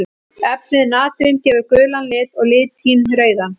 Efnið natrín gefur gulan lit og litín rauðan.